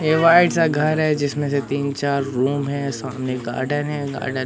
एक व्हाइट सा घर है जिसमें से तीन चार रूम है सामने गार्डन है गार्डन --